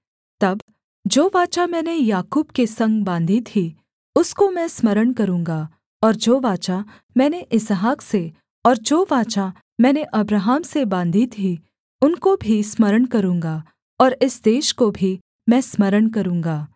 तब जो वाचा मैंने याकूब के संग बाँधी थी उसको मैं स्मरण करूँगा और जो वाचा मैंने इसहाक से और जो वाचा मैंने अब्राहम से बाँधी थी उनको भी स्मरण करूँगा और इस देश को भी मैं स्मरण करूँगा